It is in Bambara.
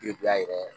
Den bɛ a yɛrɛ